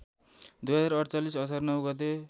२०४८ असार ९ गते